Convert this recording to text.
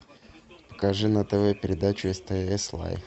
покажи на тв передачу стс лайв